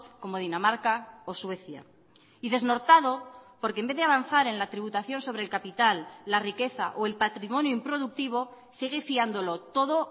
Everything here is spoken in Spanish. como dinamarca o suecia y desnortado porque en vez de avanzar en la tributación sobre el capital la riqueza o el patrimonio improductivo sigue fiándolo todo